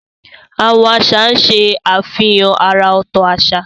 Àwọn àṣà ṣe àfihàn àrà ọ̀tọ̀ àṣà.